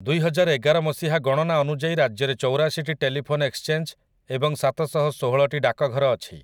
ଦୁଇହଜାରଏଗାର ମସିହା ଗଣନା ଅନୁଯାୟୀ ରାଜ୍ୟରେ ଚଉରାଶିଟି ଟେଲିଫୋନ୍ ଏକ୍ସଚେଞ୍ଜ୍ ଏବଂ ସାତଶହଷୋହଳଟି ଡାକଘର ଅଛି ।